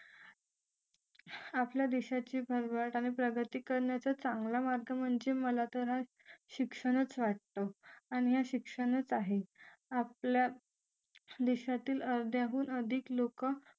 आपल्या देशाची भरभराट आणि प्रगती करण्याचा चांगला मार्ग म्हणजे मला तर सरळ शिक्षणाची वाटतं आणि यात शिक्षणाचा आहे आपल्या देशातील अर्ध्याहून अधिक लोक